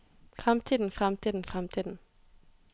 fremtiden fremtiden fremtiden